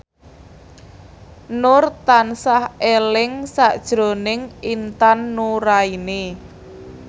Nur tansah eling sakjroning Intan Nuraini